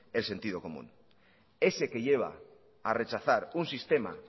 el sentido común ese que lleva a rechazar un sistema